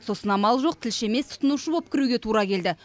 сосын амал жоқ тілші емес тұтынушы болып кіруге тура келді